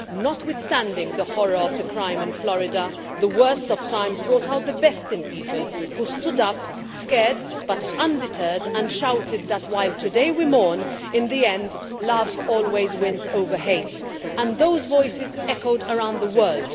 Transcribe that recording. Notwithstanding the horror of the crime in Florida, the worst of times brought out the best in people who stood up, scared but undeterred, and shouted that while today we mourn, in the end, love always wins over hate, and those voices echoed around the world.